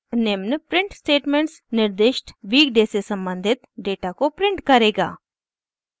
निम्न print statements निर्दिष्ट week day से सम्बंधित डेटा को प्रिंट करेगा